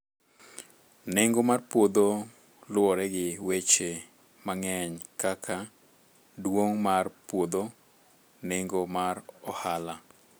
Nengo mar puodho luwore gi weche mang'eny kaka duong' mar puodho, nengo mar ohala